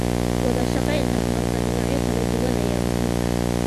Wadashaqeyn dhexmarta dhinacyo kala duwan ayaa muhiim ah.